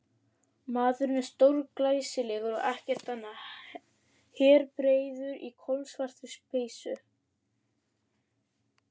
Maðurinn er stórglæsilegur og ekkert annað, herðabreiður í kolsvartri peysu.